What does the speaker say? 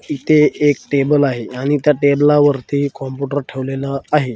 तिथे एक टेबल आहे आणि त्या टेबलावरती कॉम्प्युटर ठेवलेला आहे.